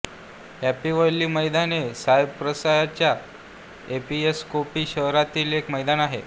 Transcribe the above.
happy valley मैदान हे सायप्रसच्या एपीसकोपी शहरातील एक मैदान आहे